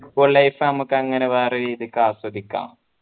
schoollife നമ്മക്കങ്ങനെ വേറെ രീതിക്ക് ആസ്വദിക്കാം